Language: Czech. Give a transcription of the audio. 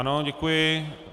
Ano, děkuji.